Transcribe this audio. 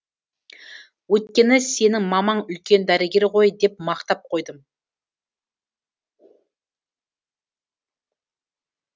өйткені сенің мамаң үлкен дәрігер ғой деп мақтап қойдым